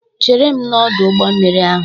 "Chere m n'ọdụ ụgbọ mmiri ahụ"